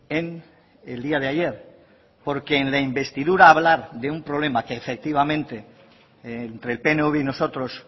en el día de ayer porque en la investidura hablar de un problema que efectivamente entre el pnv y nosotros